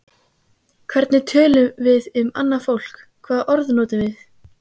Hvernig tölum við um annað fólk, hvaða orð notum við?